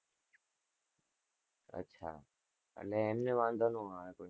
અચ્છા અને એમને વાંધો નાં આવે કોઈ.